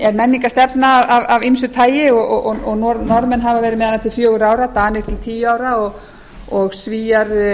er menningarstefna af ýmsu tagi og norðmenn hafa verið með hana til fjögurra ára danir til tíu ára og svíar